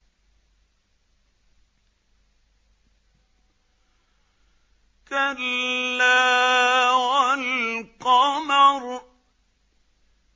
كَلَّا وَالْقَمَرِ